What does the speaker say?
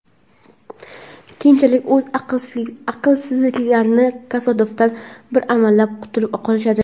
keyinchalik o‘z aqlsizliklarining kasofatidan bir amallab qutulib qolishadi.